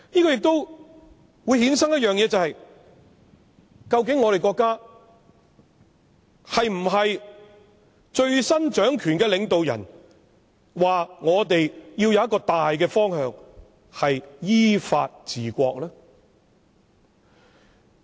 這亦會衍生一點，國家最新掌權的領導人指我們要有一個大方向，便是依法治國。